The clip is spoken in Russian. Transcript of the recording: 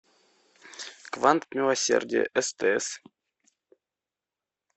квант милосердия стс